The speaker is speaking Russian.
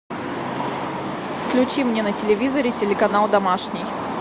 включи мне на телевизоре телеканал домашний